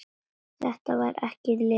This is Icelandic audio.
Þetta var ekki Lilla.